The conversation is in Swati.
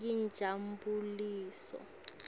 yinjabuliso